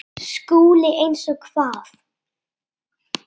SKÚLI: Eins og hvað?